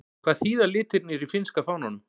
Hvað þýða litirnir í finnska fánanum?